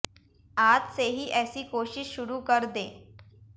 आज से ही ऐसी कोशिश शुरु कर दें